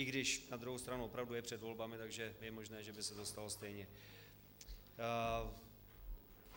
I když na druhou stranu opravdu je před volbami, takže je možné, že by se to stalo stejně.